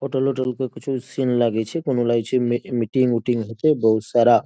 hotel का कुछो scene लागे छे कोनो लागे छे मी-मीटिंग बहुत सारा --